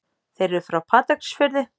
Þeir eru frá Patreksfirði.